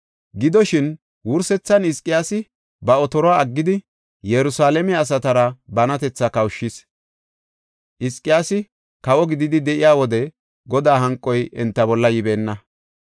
Gidoshin, wursethan Hizqiyaasi ba otoruwa aggidi Yerusalaame asatara banatetha kawushis. Hizqiyaasi kawo gididi de7iya wode Godaa hanqoy enta bolla yibeenna.